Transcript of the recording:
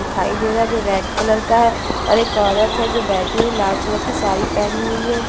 दिखाई दे रहा हैं जो रेड कलर का है और एक औरत हैं जो बैठी हुई है लाल कलर की साड़ी पहनी हुई हैं।